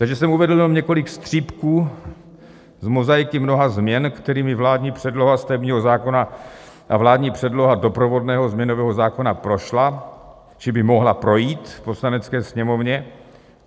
Takže jsem uvedl jenom několik střípků z mozaiky mnoha změn, kterými vládní předloha stavebního zákona a vládní předloha doprovodného změnového zákona prošla či by mohla projít v Poslanecké sněmovně.